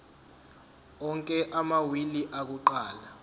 onke amawili akuqala